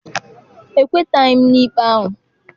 Ekwetaghị m n'ikpe ahụ.